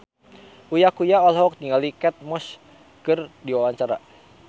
Uya Kuya olohok ningali Kate Moss keur diwawancara